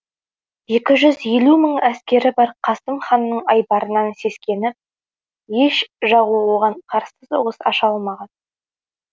екі жүз елу мың әскері бар қасым ханның айбарынан сескеніп еш жауы оған қарсы соғыс аша алмаған